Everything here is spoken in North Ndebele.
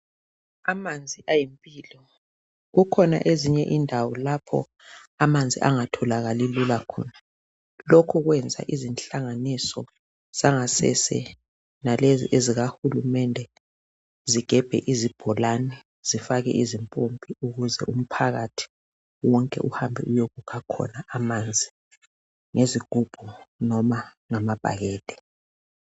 Amanzi ayimpilo, kukhona ezinye indawo lapha amanzi angatholakali lula khona, lokho kwenza izinhlanganiso zangasese lalezi ezikahulumende zigebhe izibholane zifake izimpompi ukuze umphakathi wonke uhambe uyekukha khona amanzi ngezigubhu noma ngamabhakede.